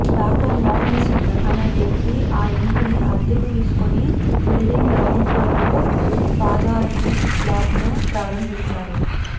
doctor Mohan Singh అనే వ్యక్తి ఆ ఇంటిని అద్దెకు తీసుకుని బిల్డింగ్ గ్రౌండ్ ఫ్లోర్లో పాథాలజీ ల్యాబ్ను ప్రారంభించారు